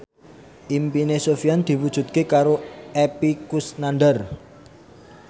impine Sofyan diwujudke karo Epy Kusnandar